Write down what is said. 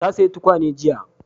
Ta saya tukwane jiya